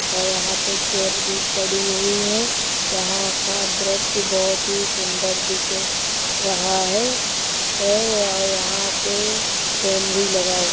और यहाँ पे चेयर भी पड़ी हुईं हैं। यहाँ का दृश्य बहोत ही सुन्दर दिख रहा हैहै और यहाँ पे फेन भी लगा हुअ --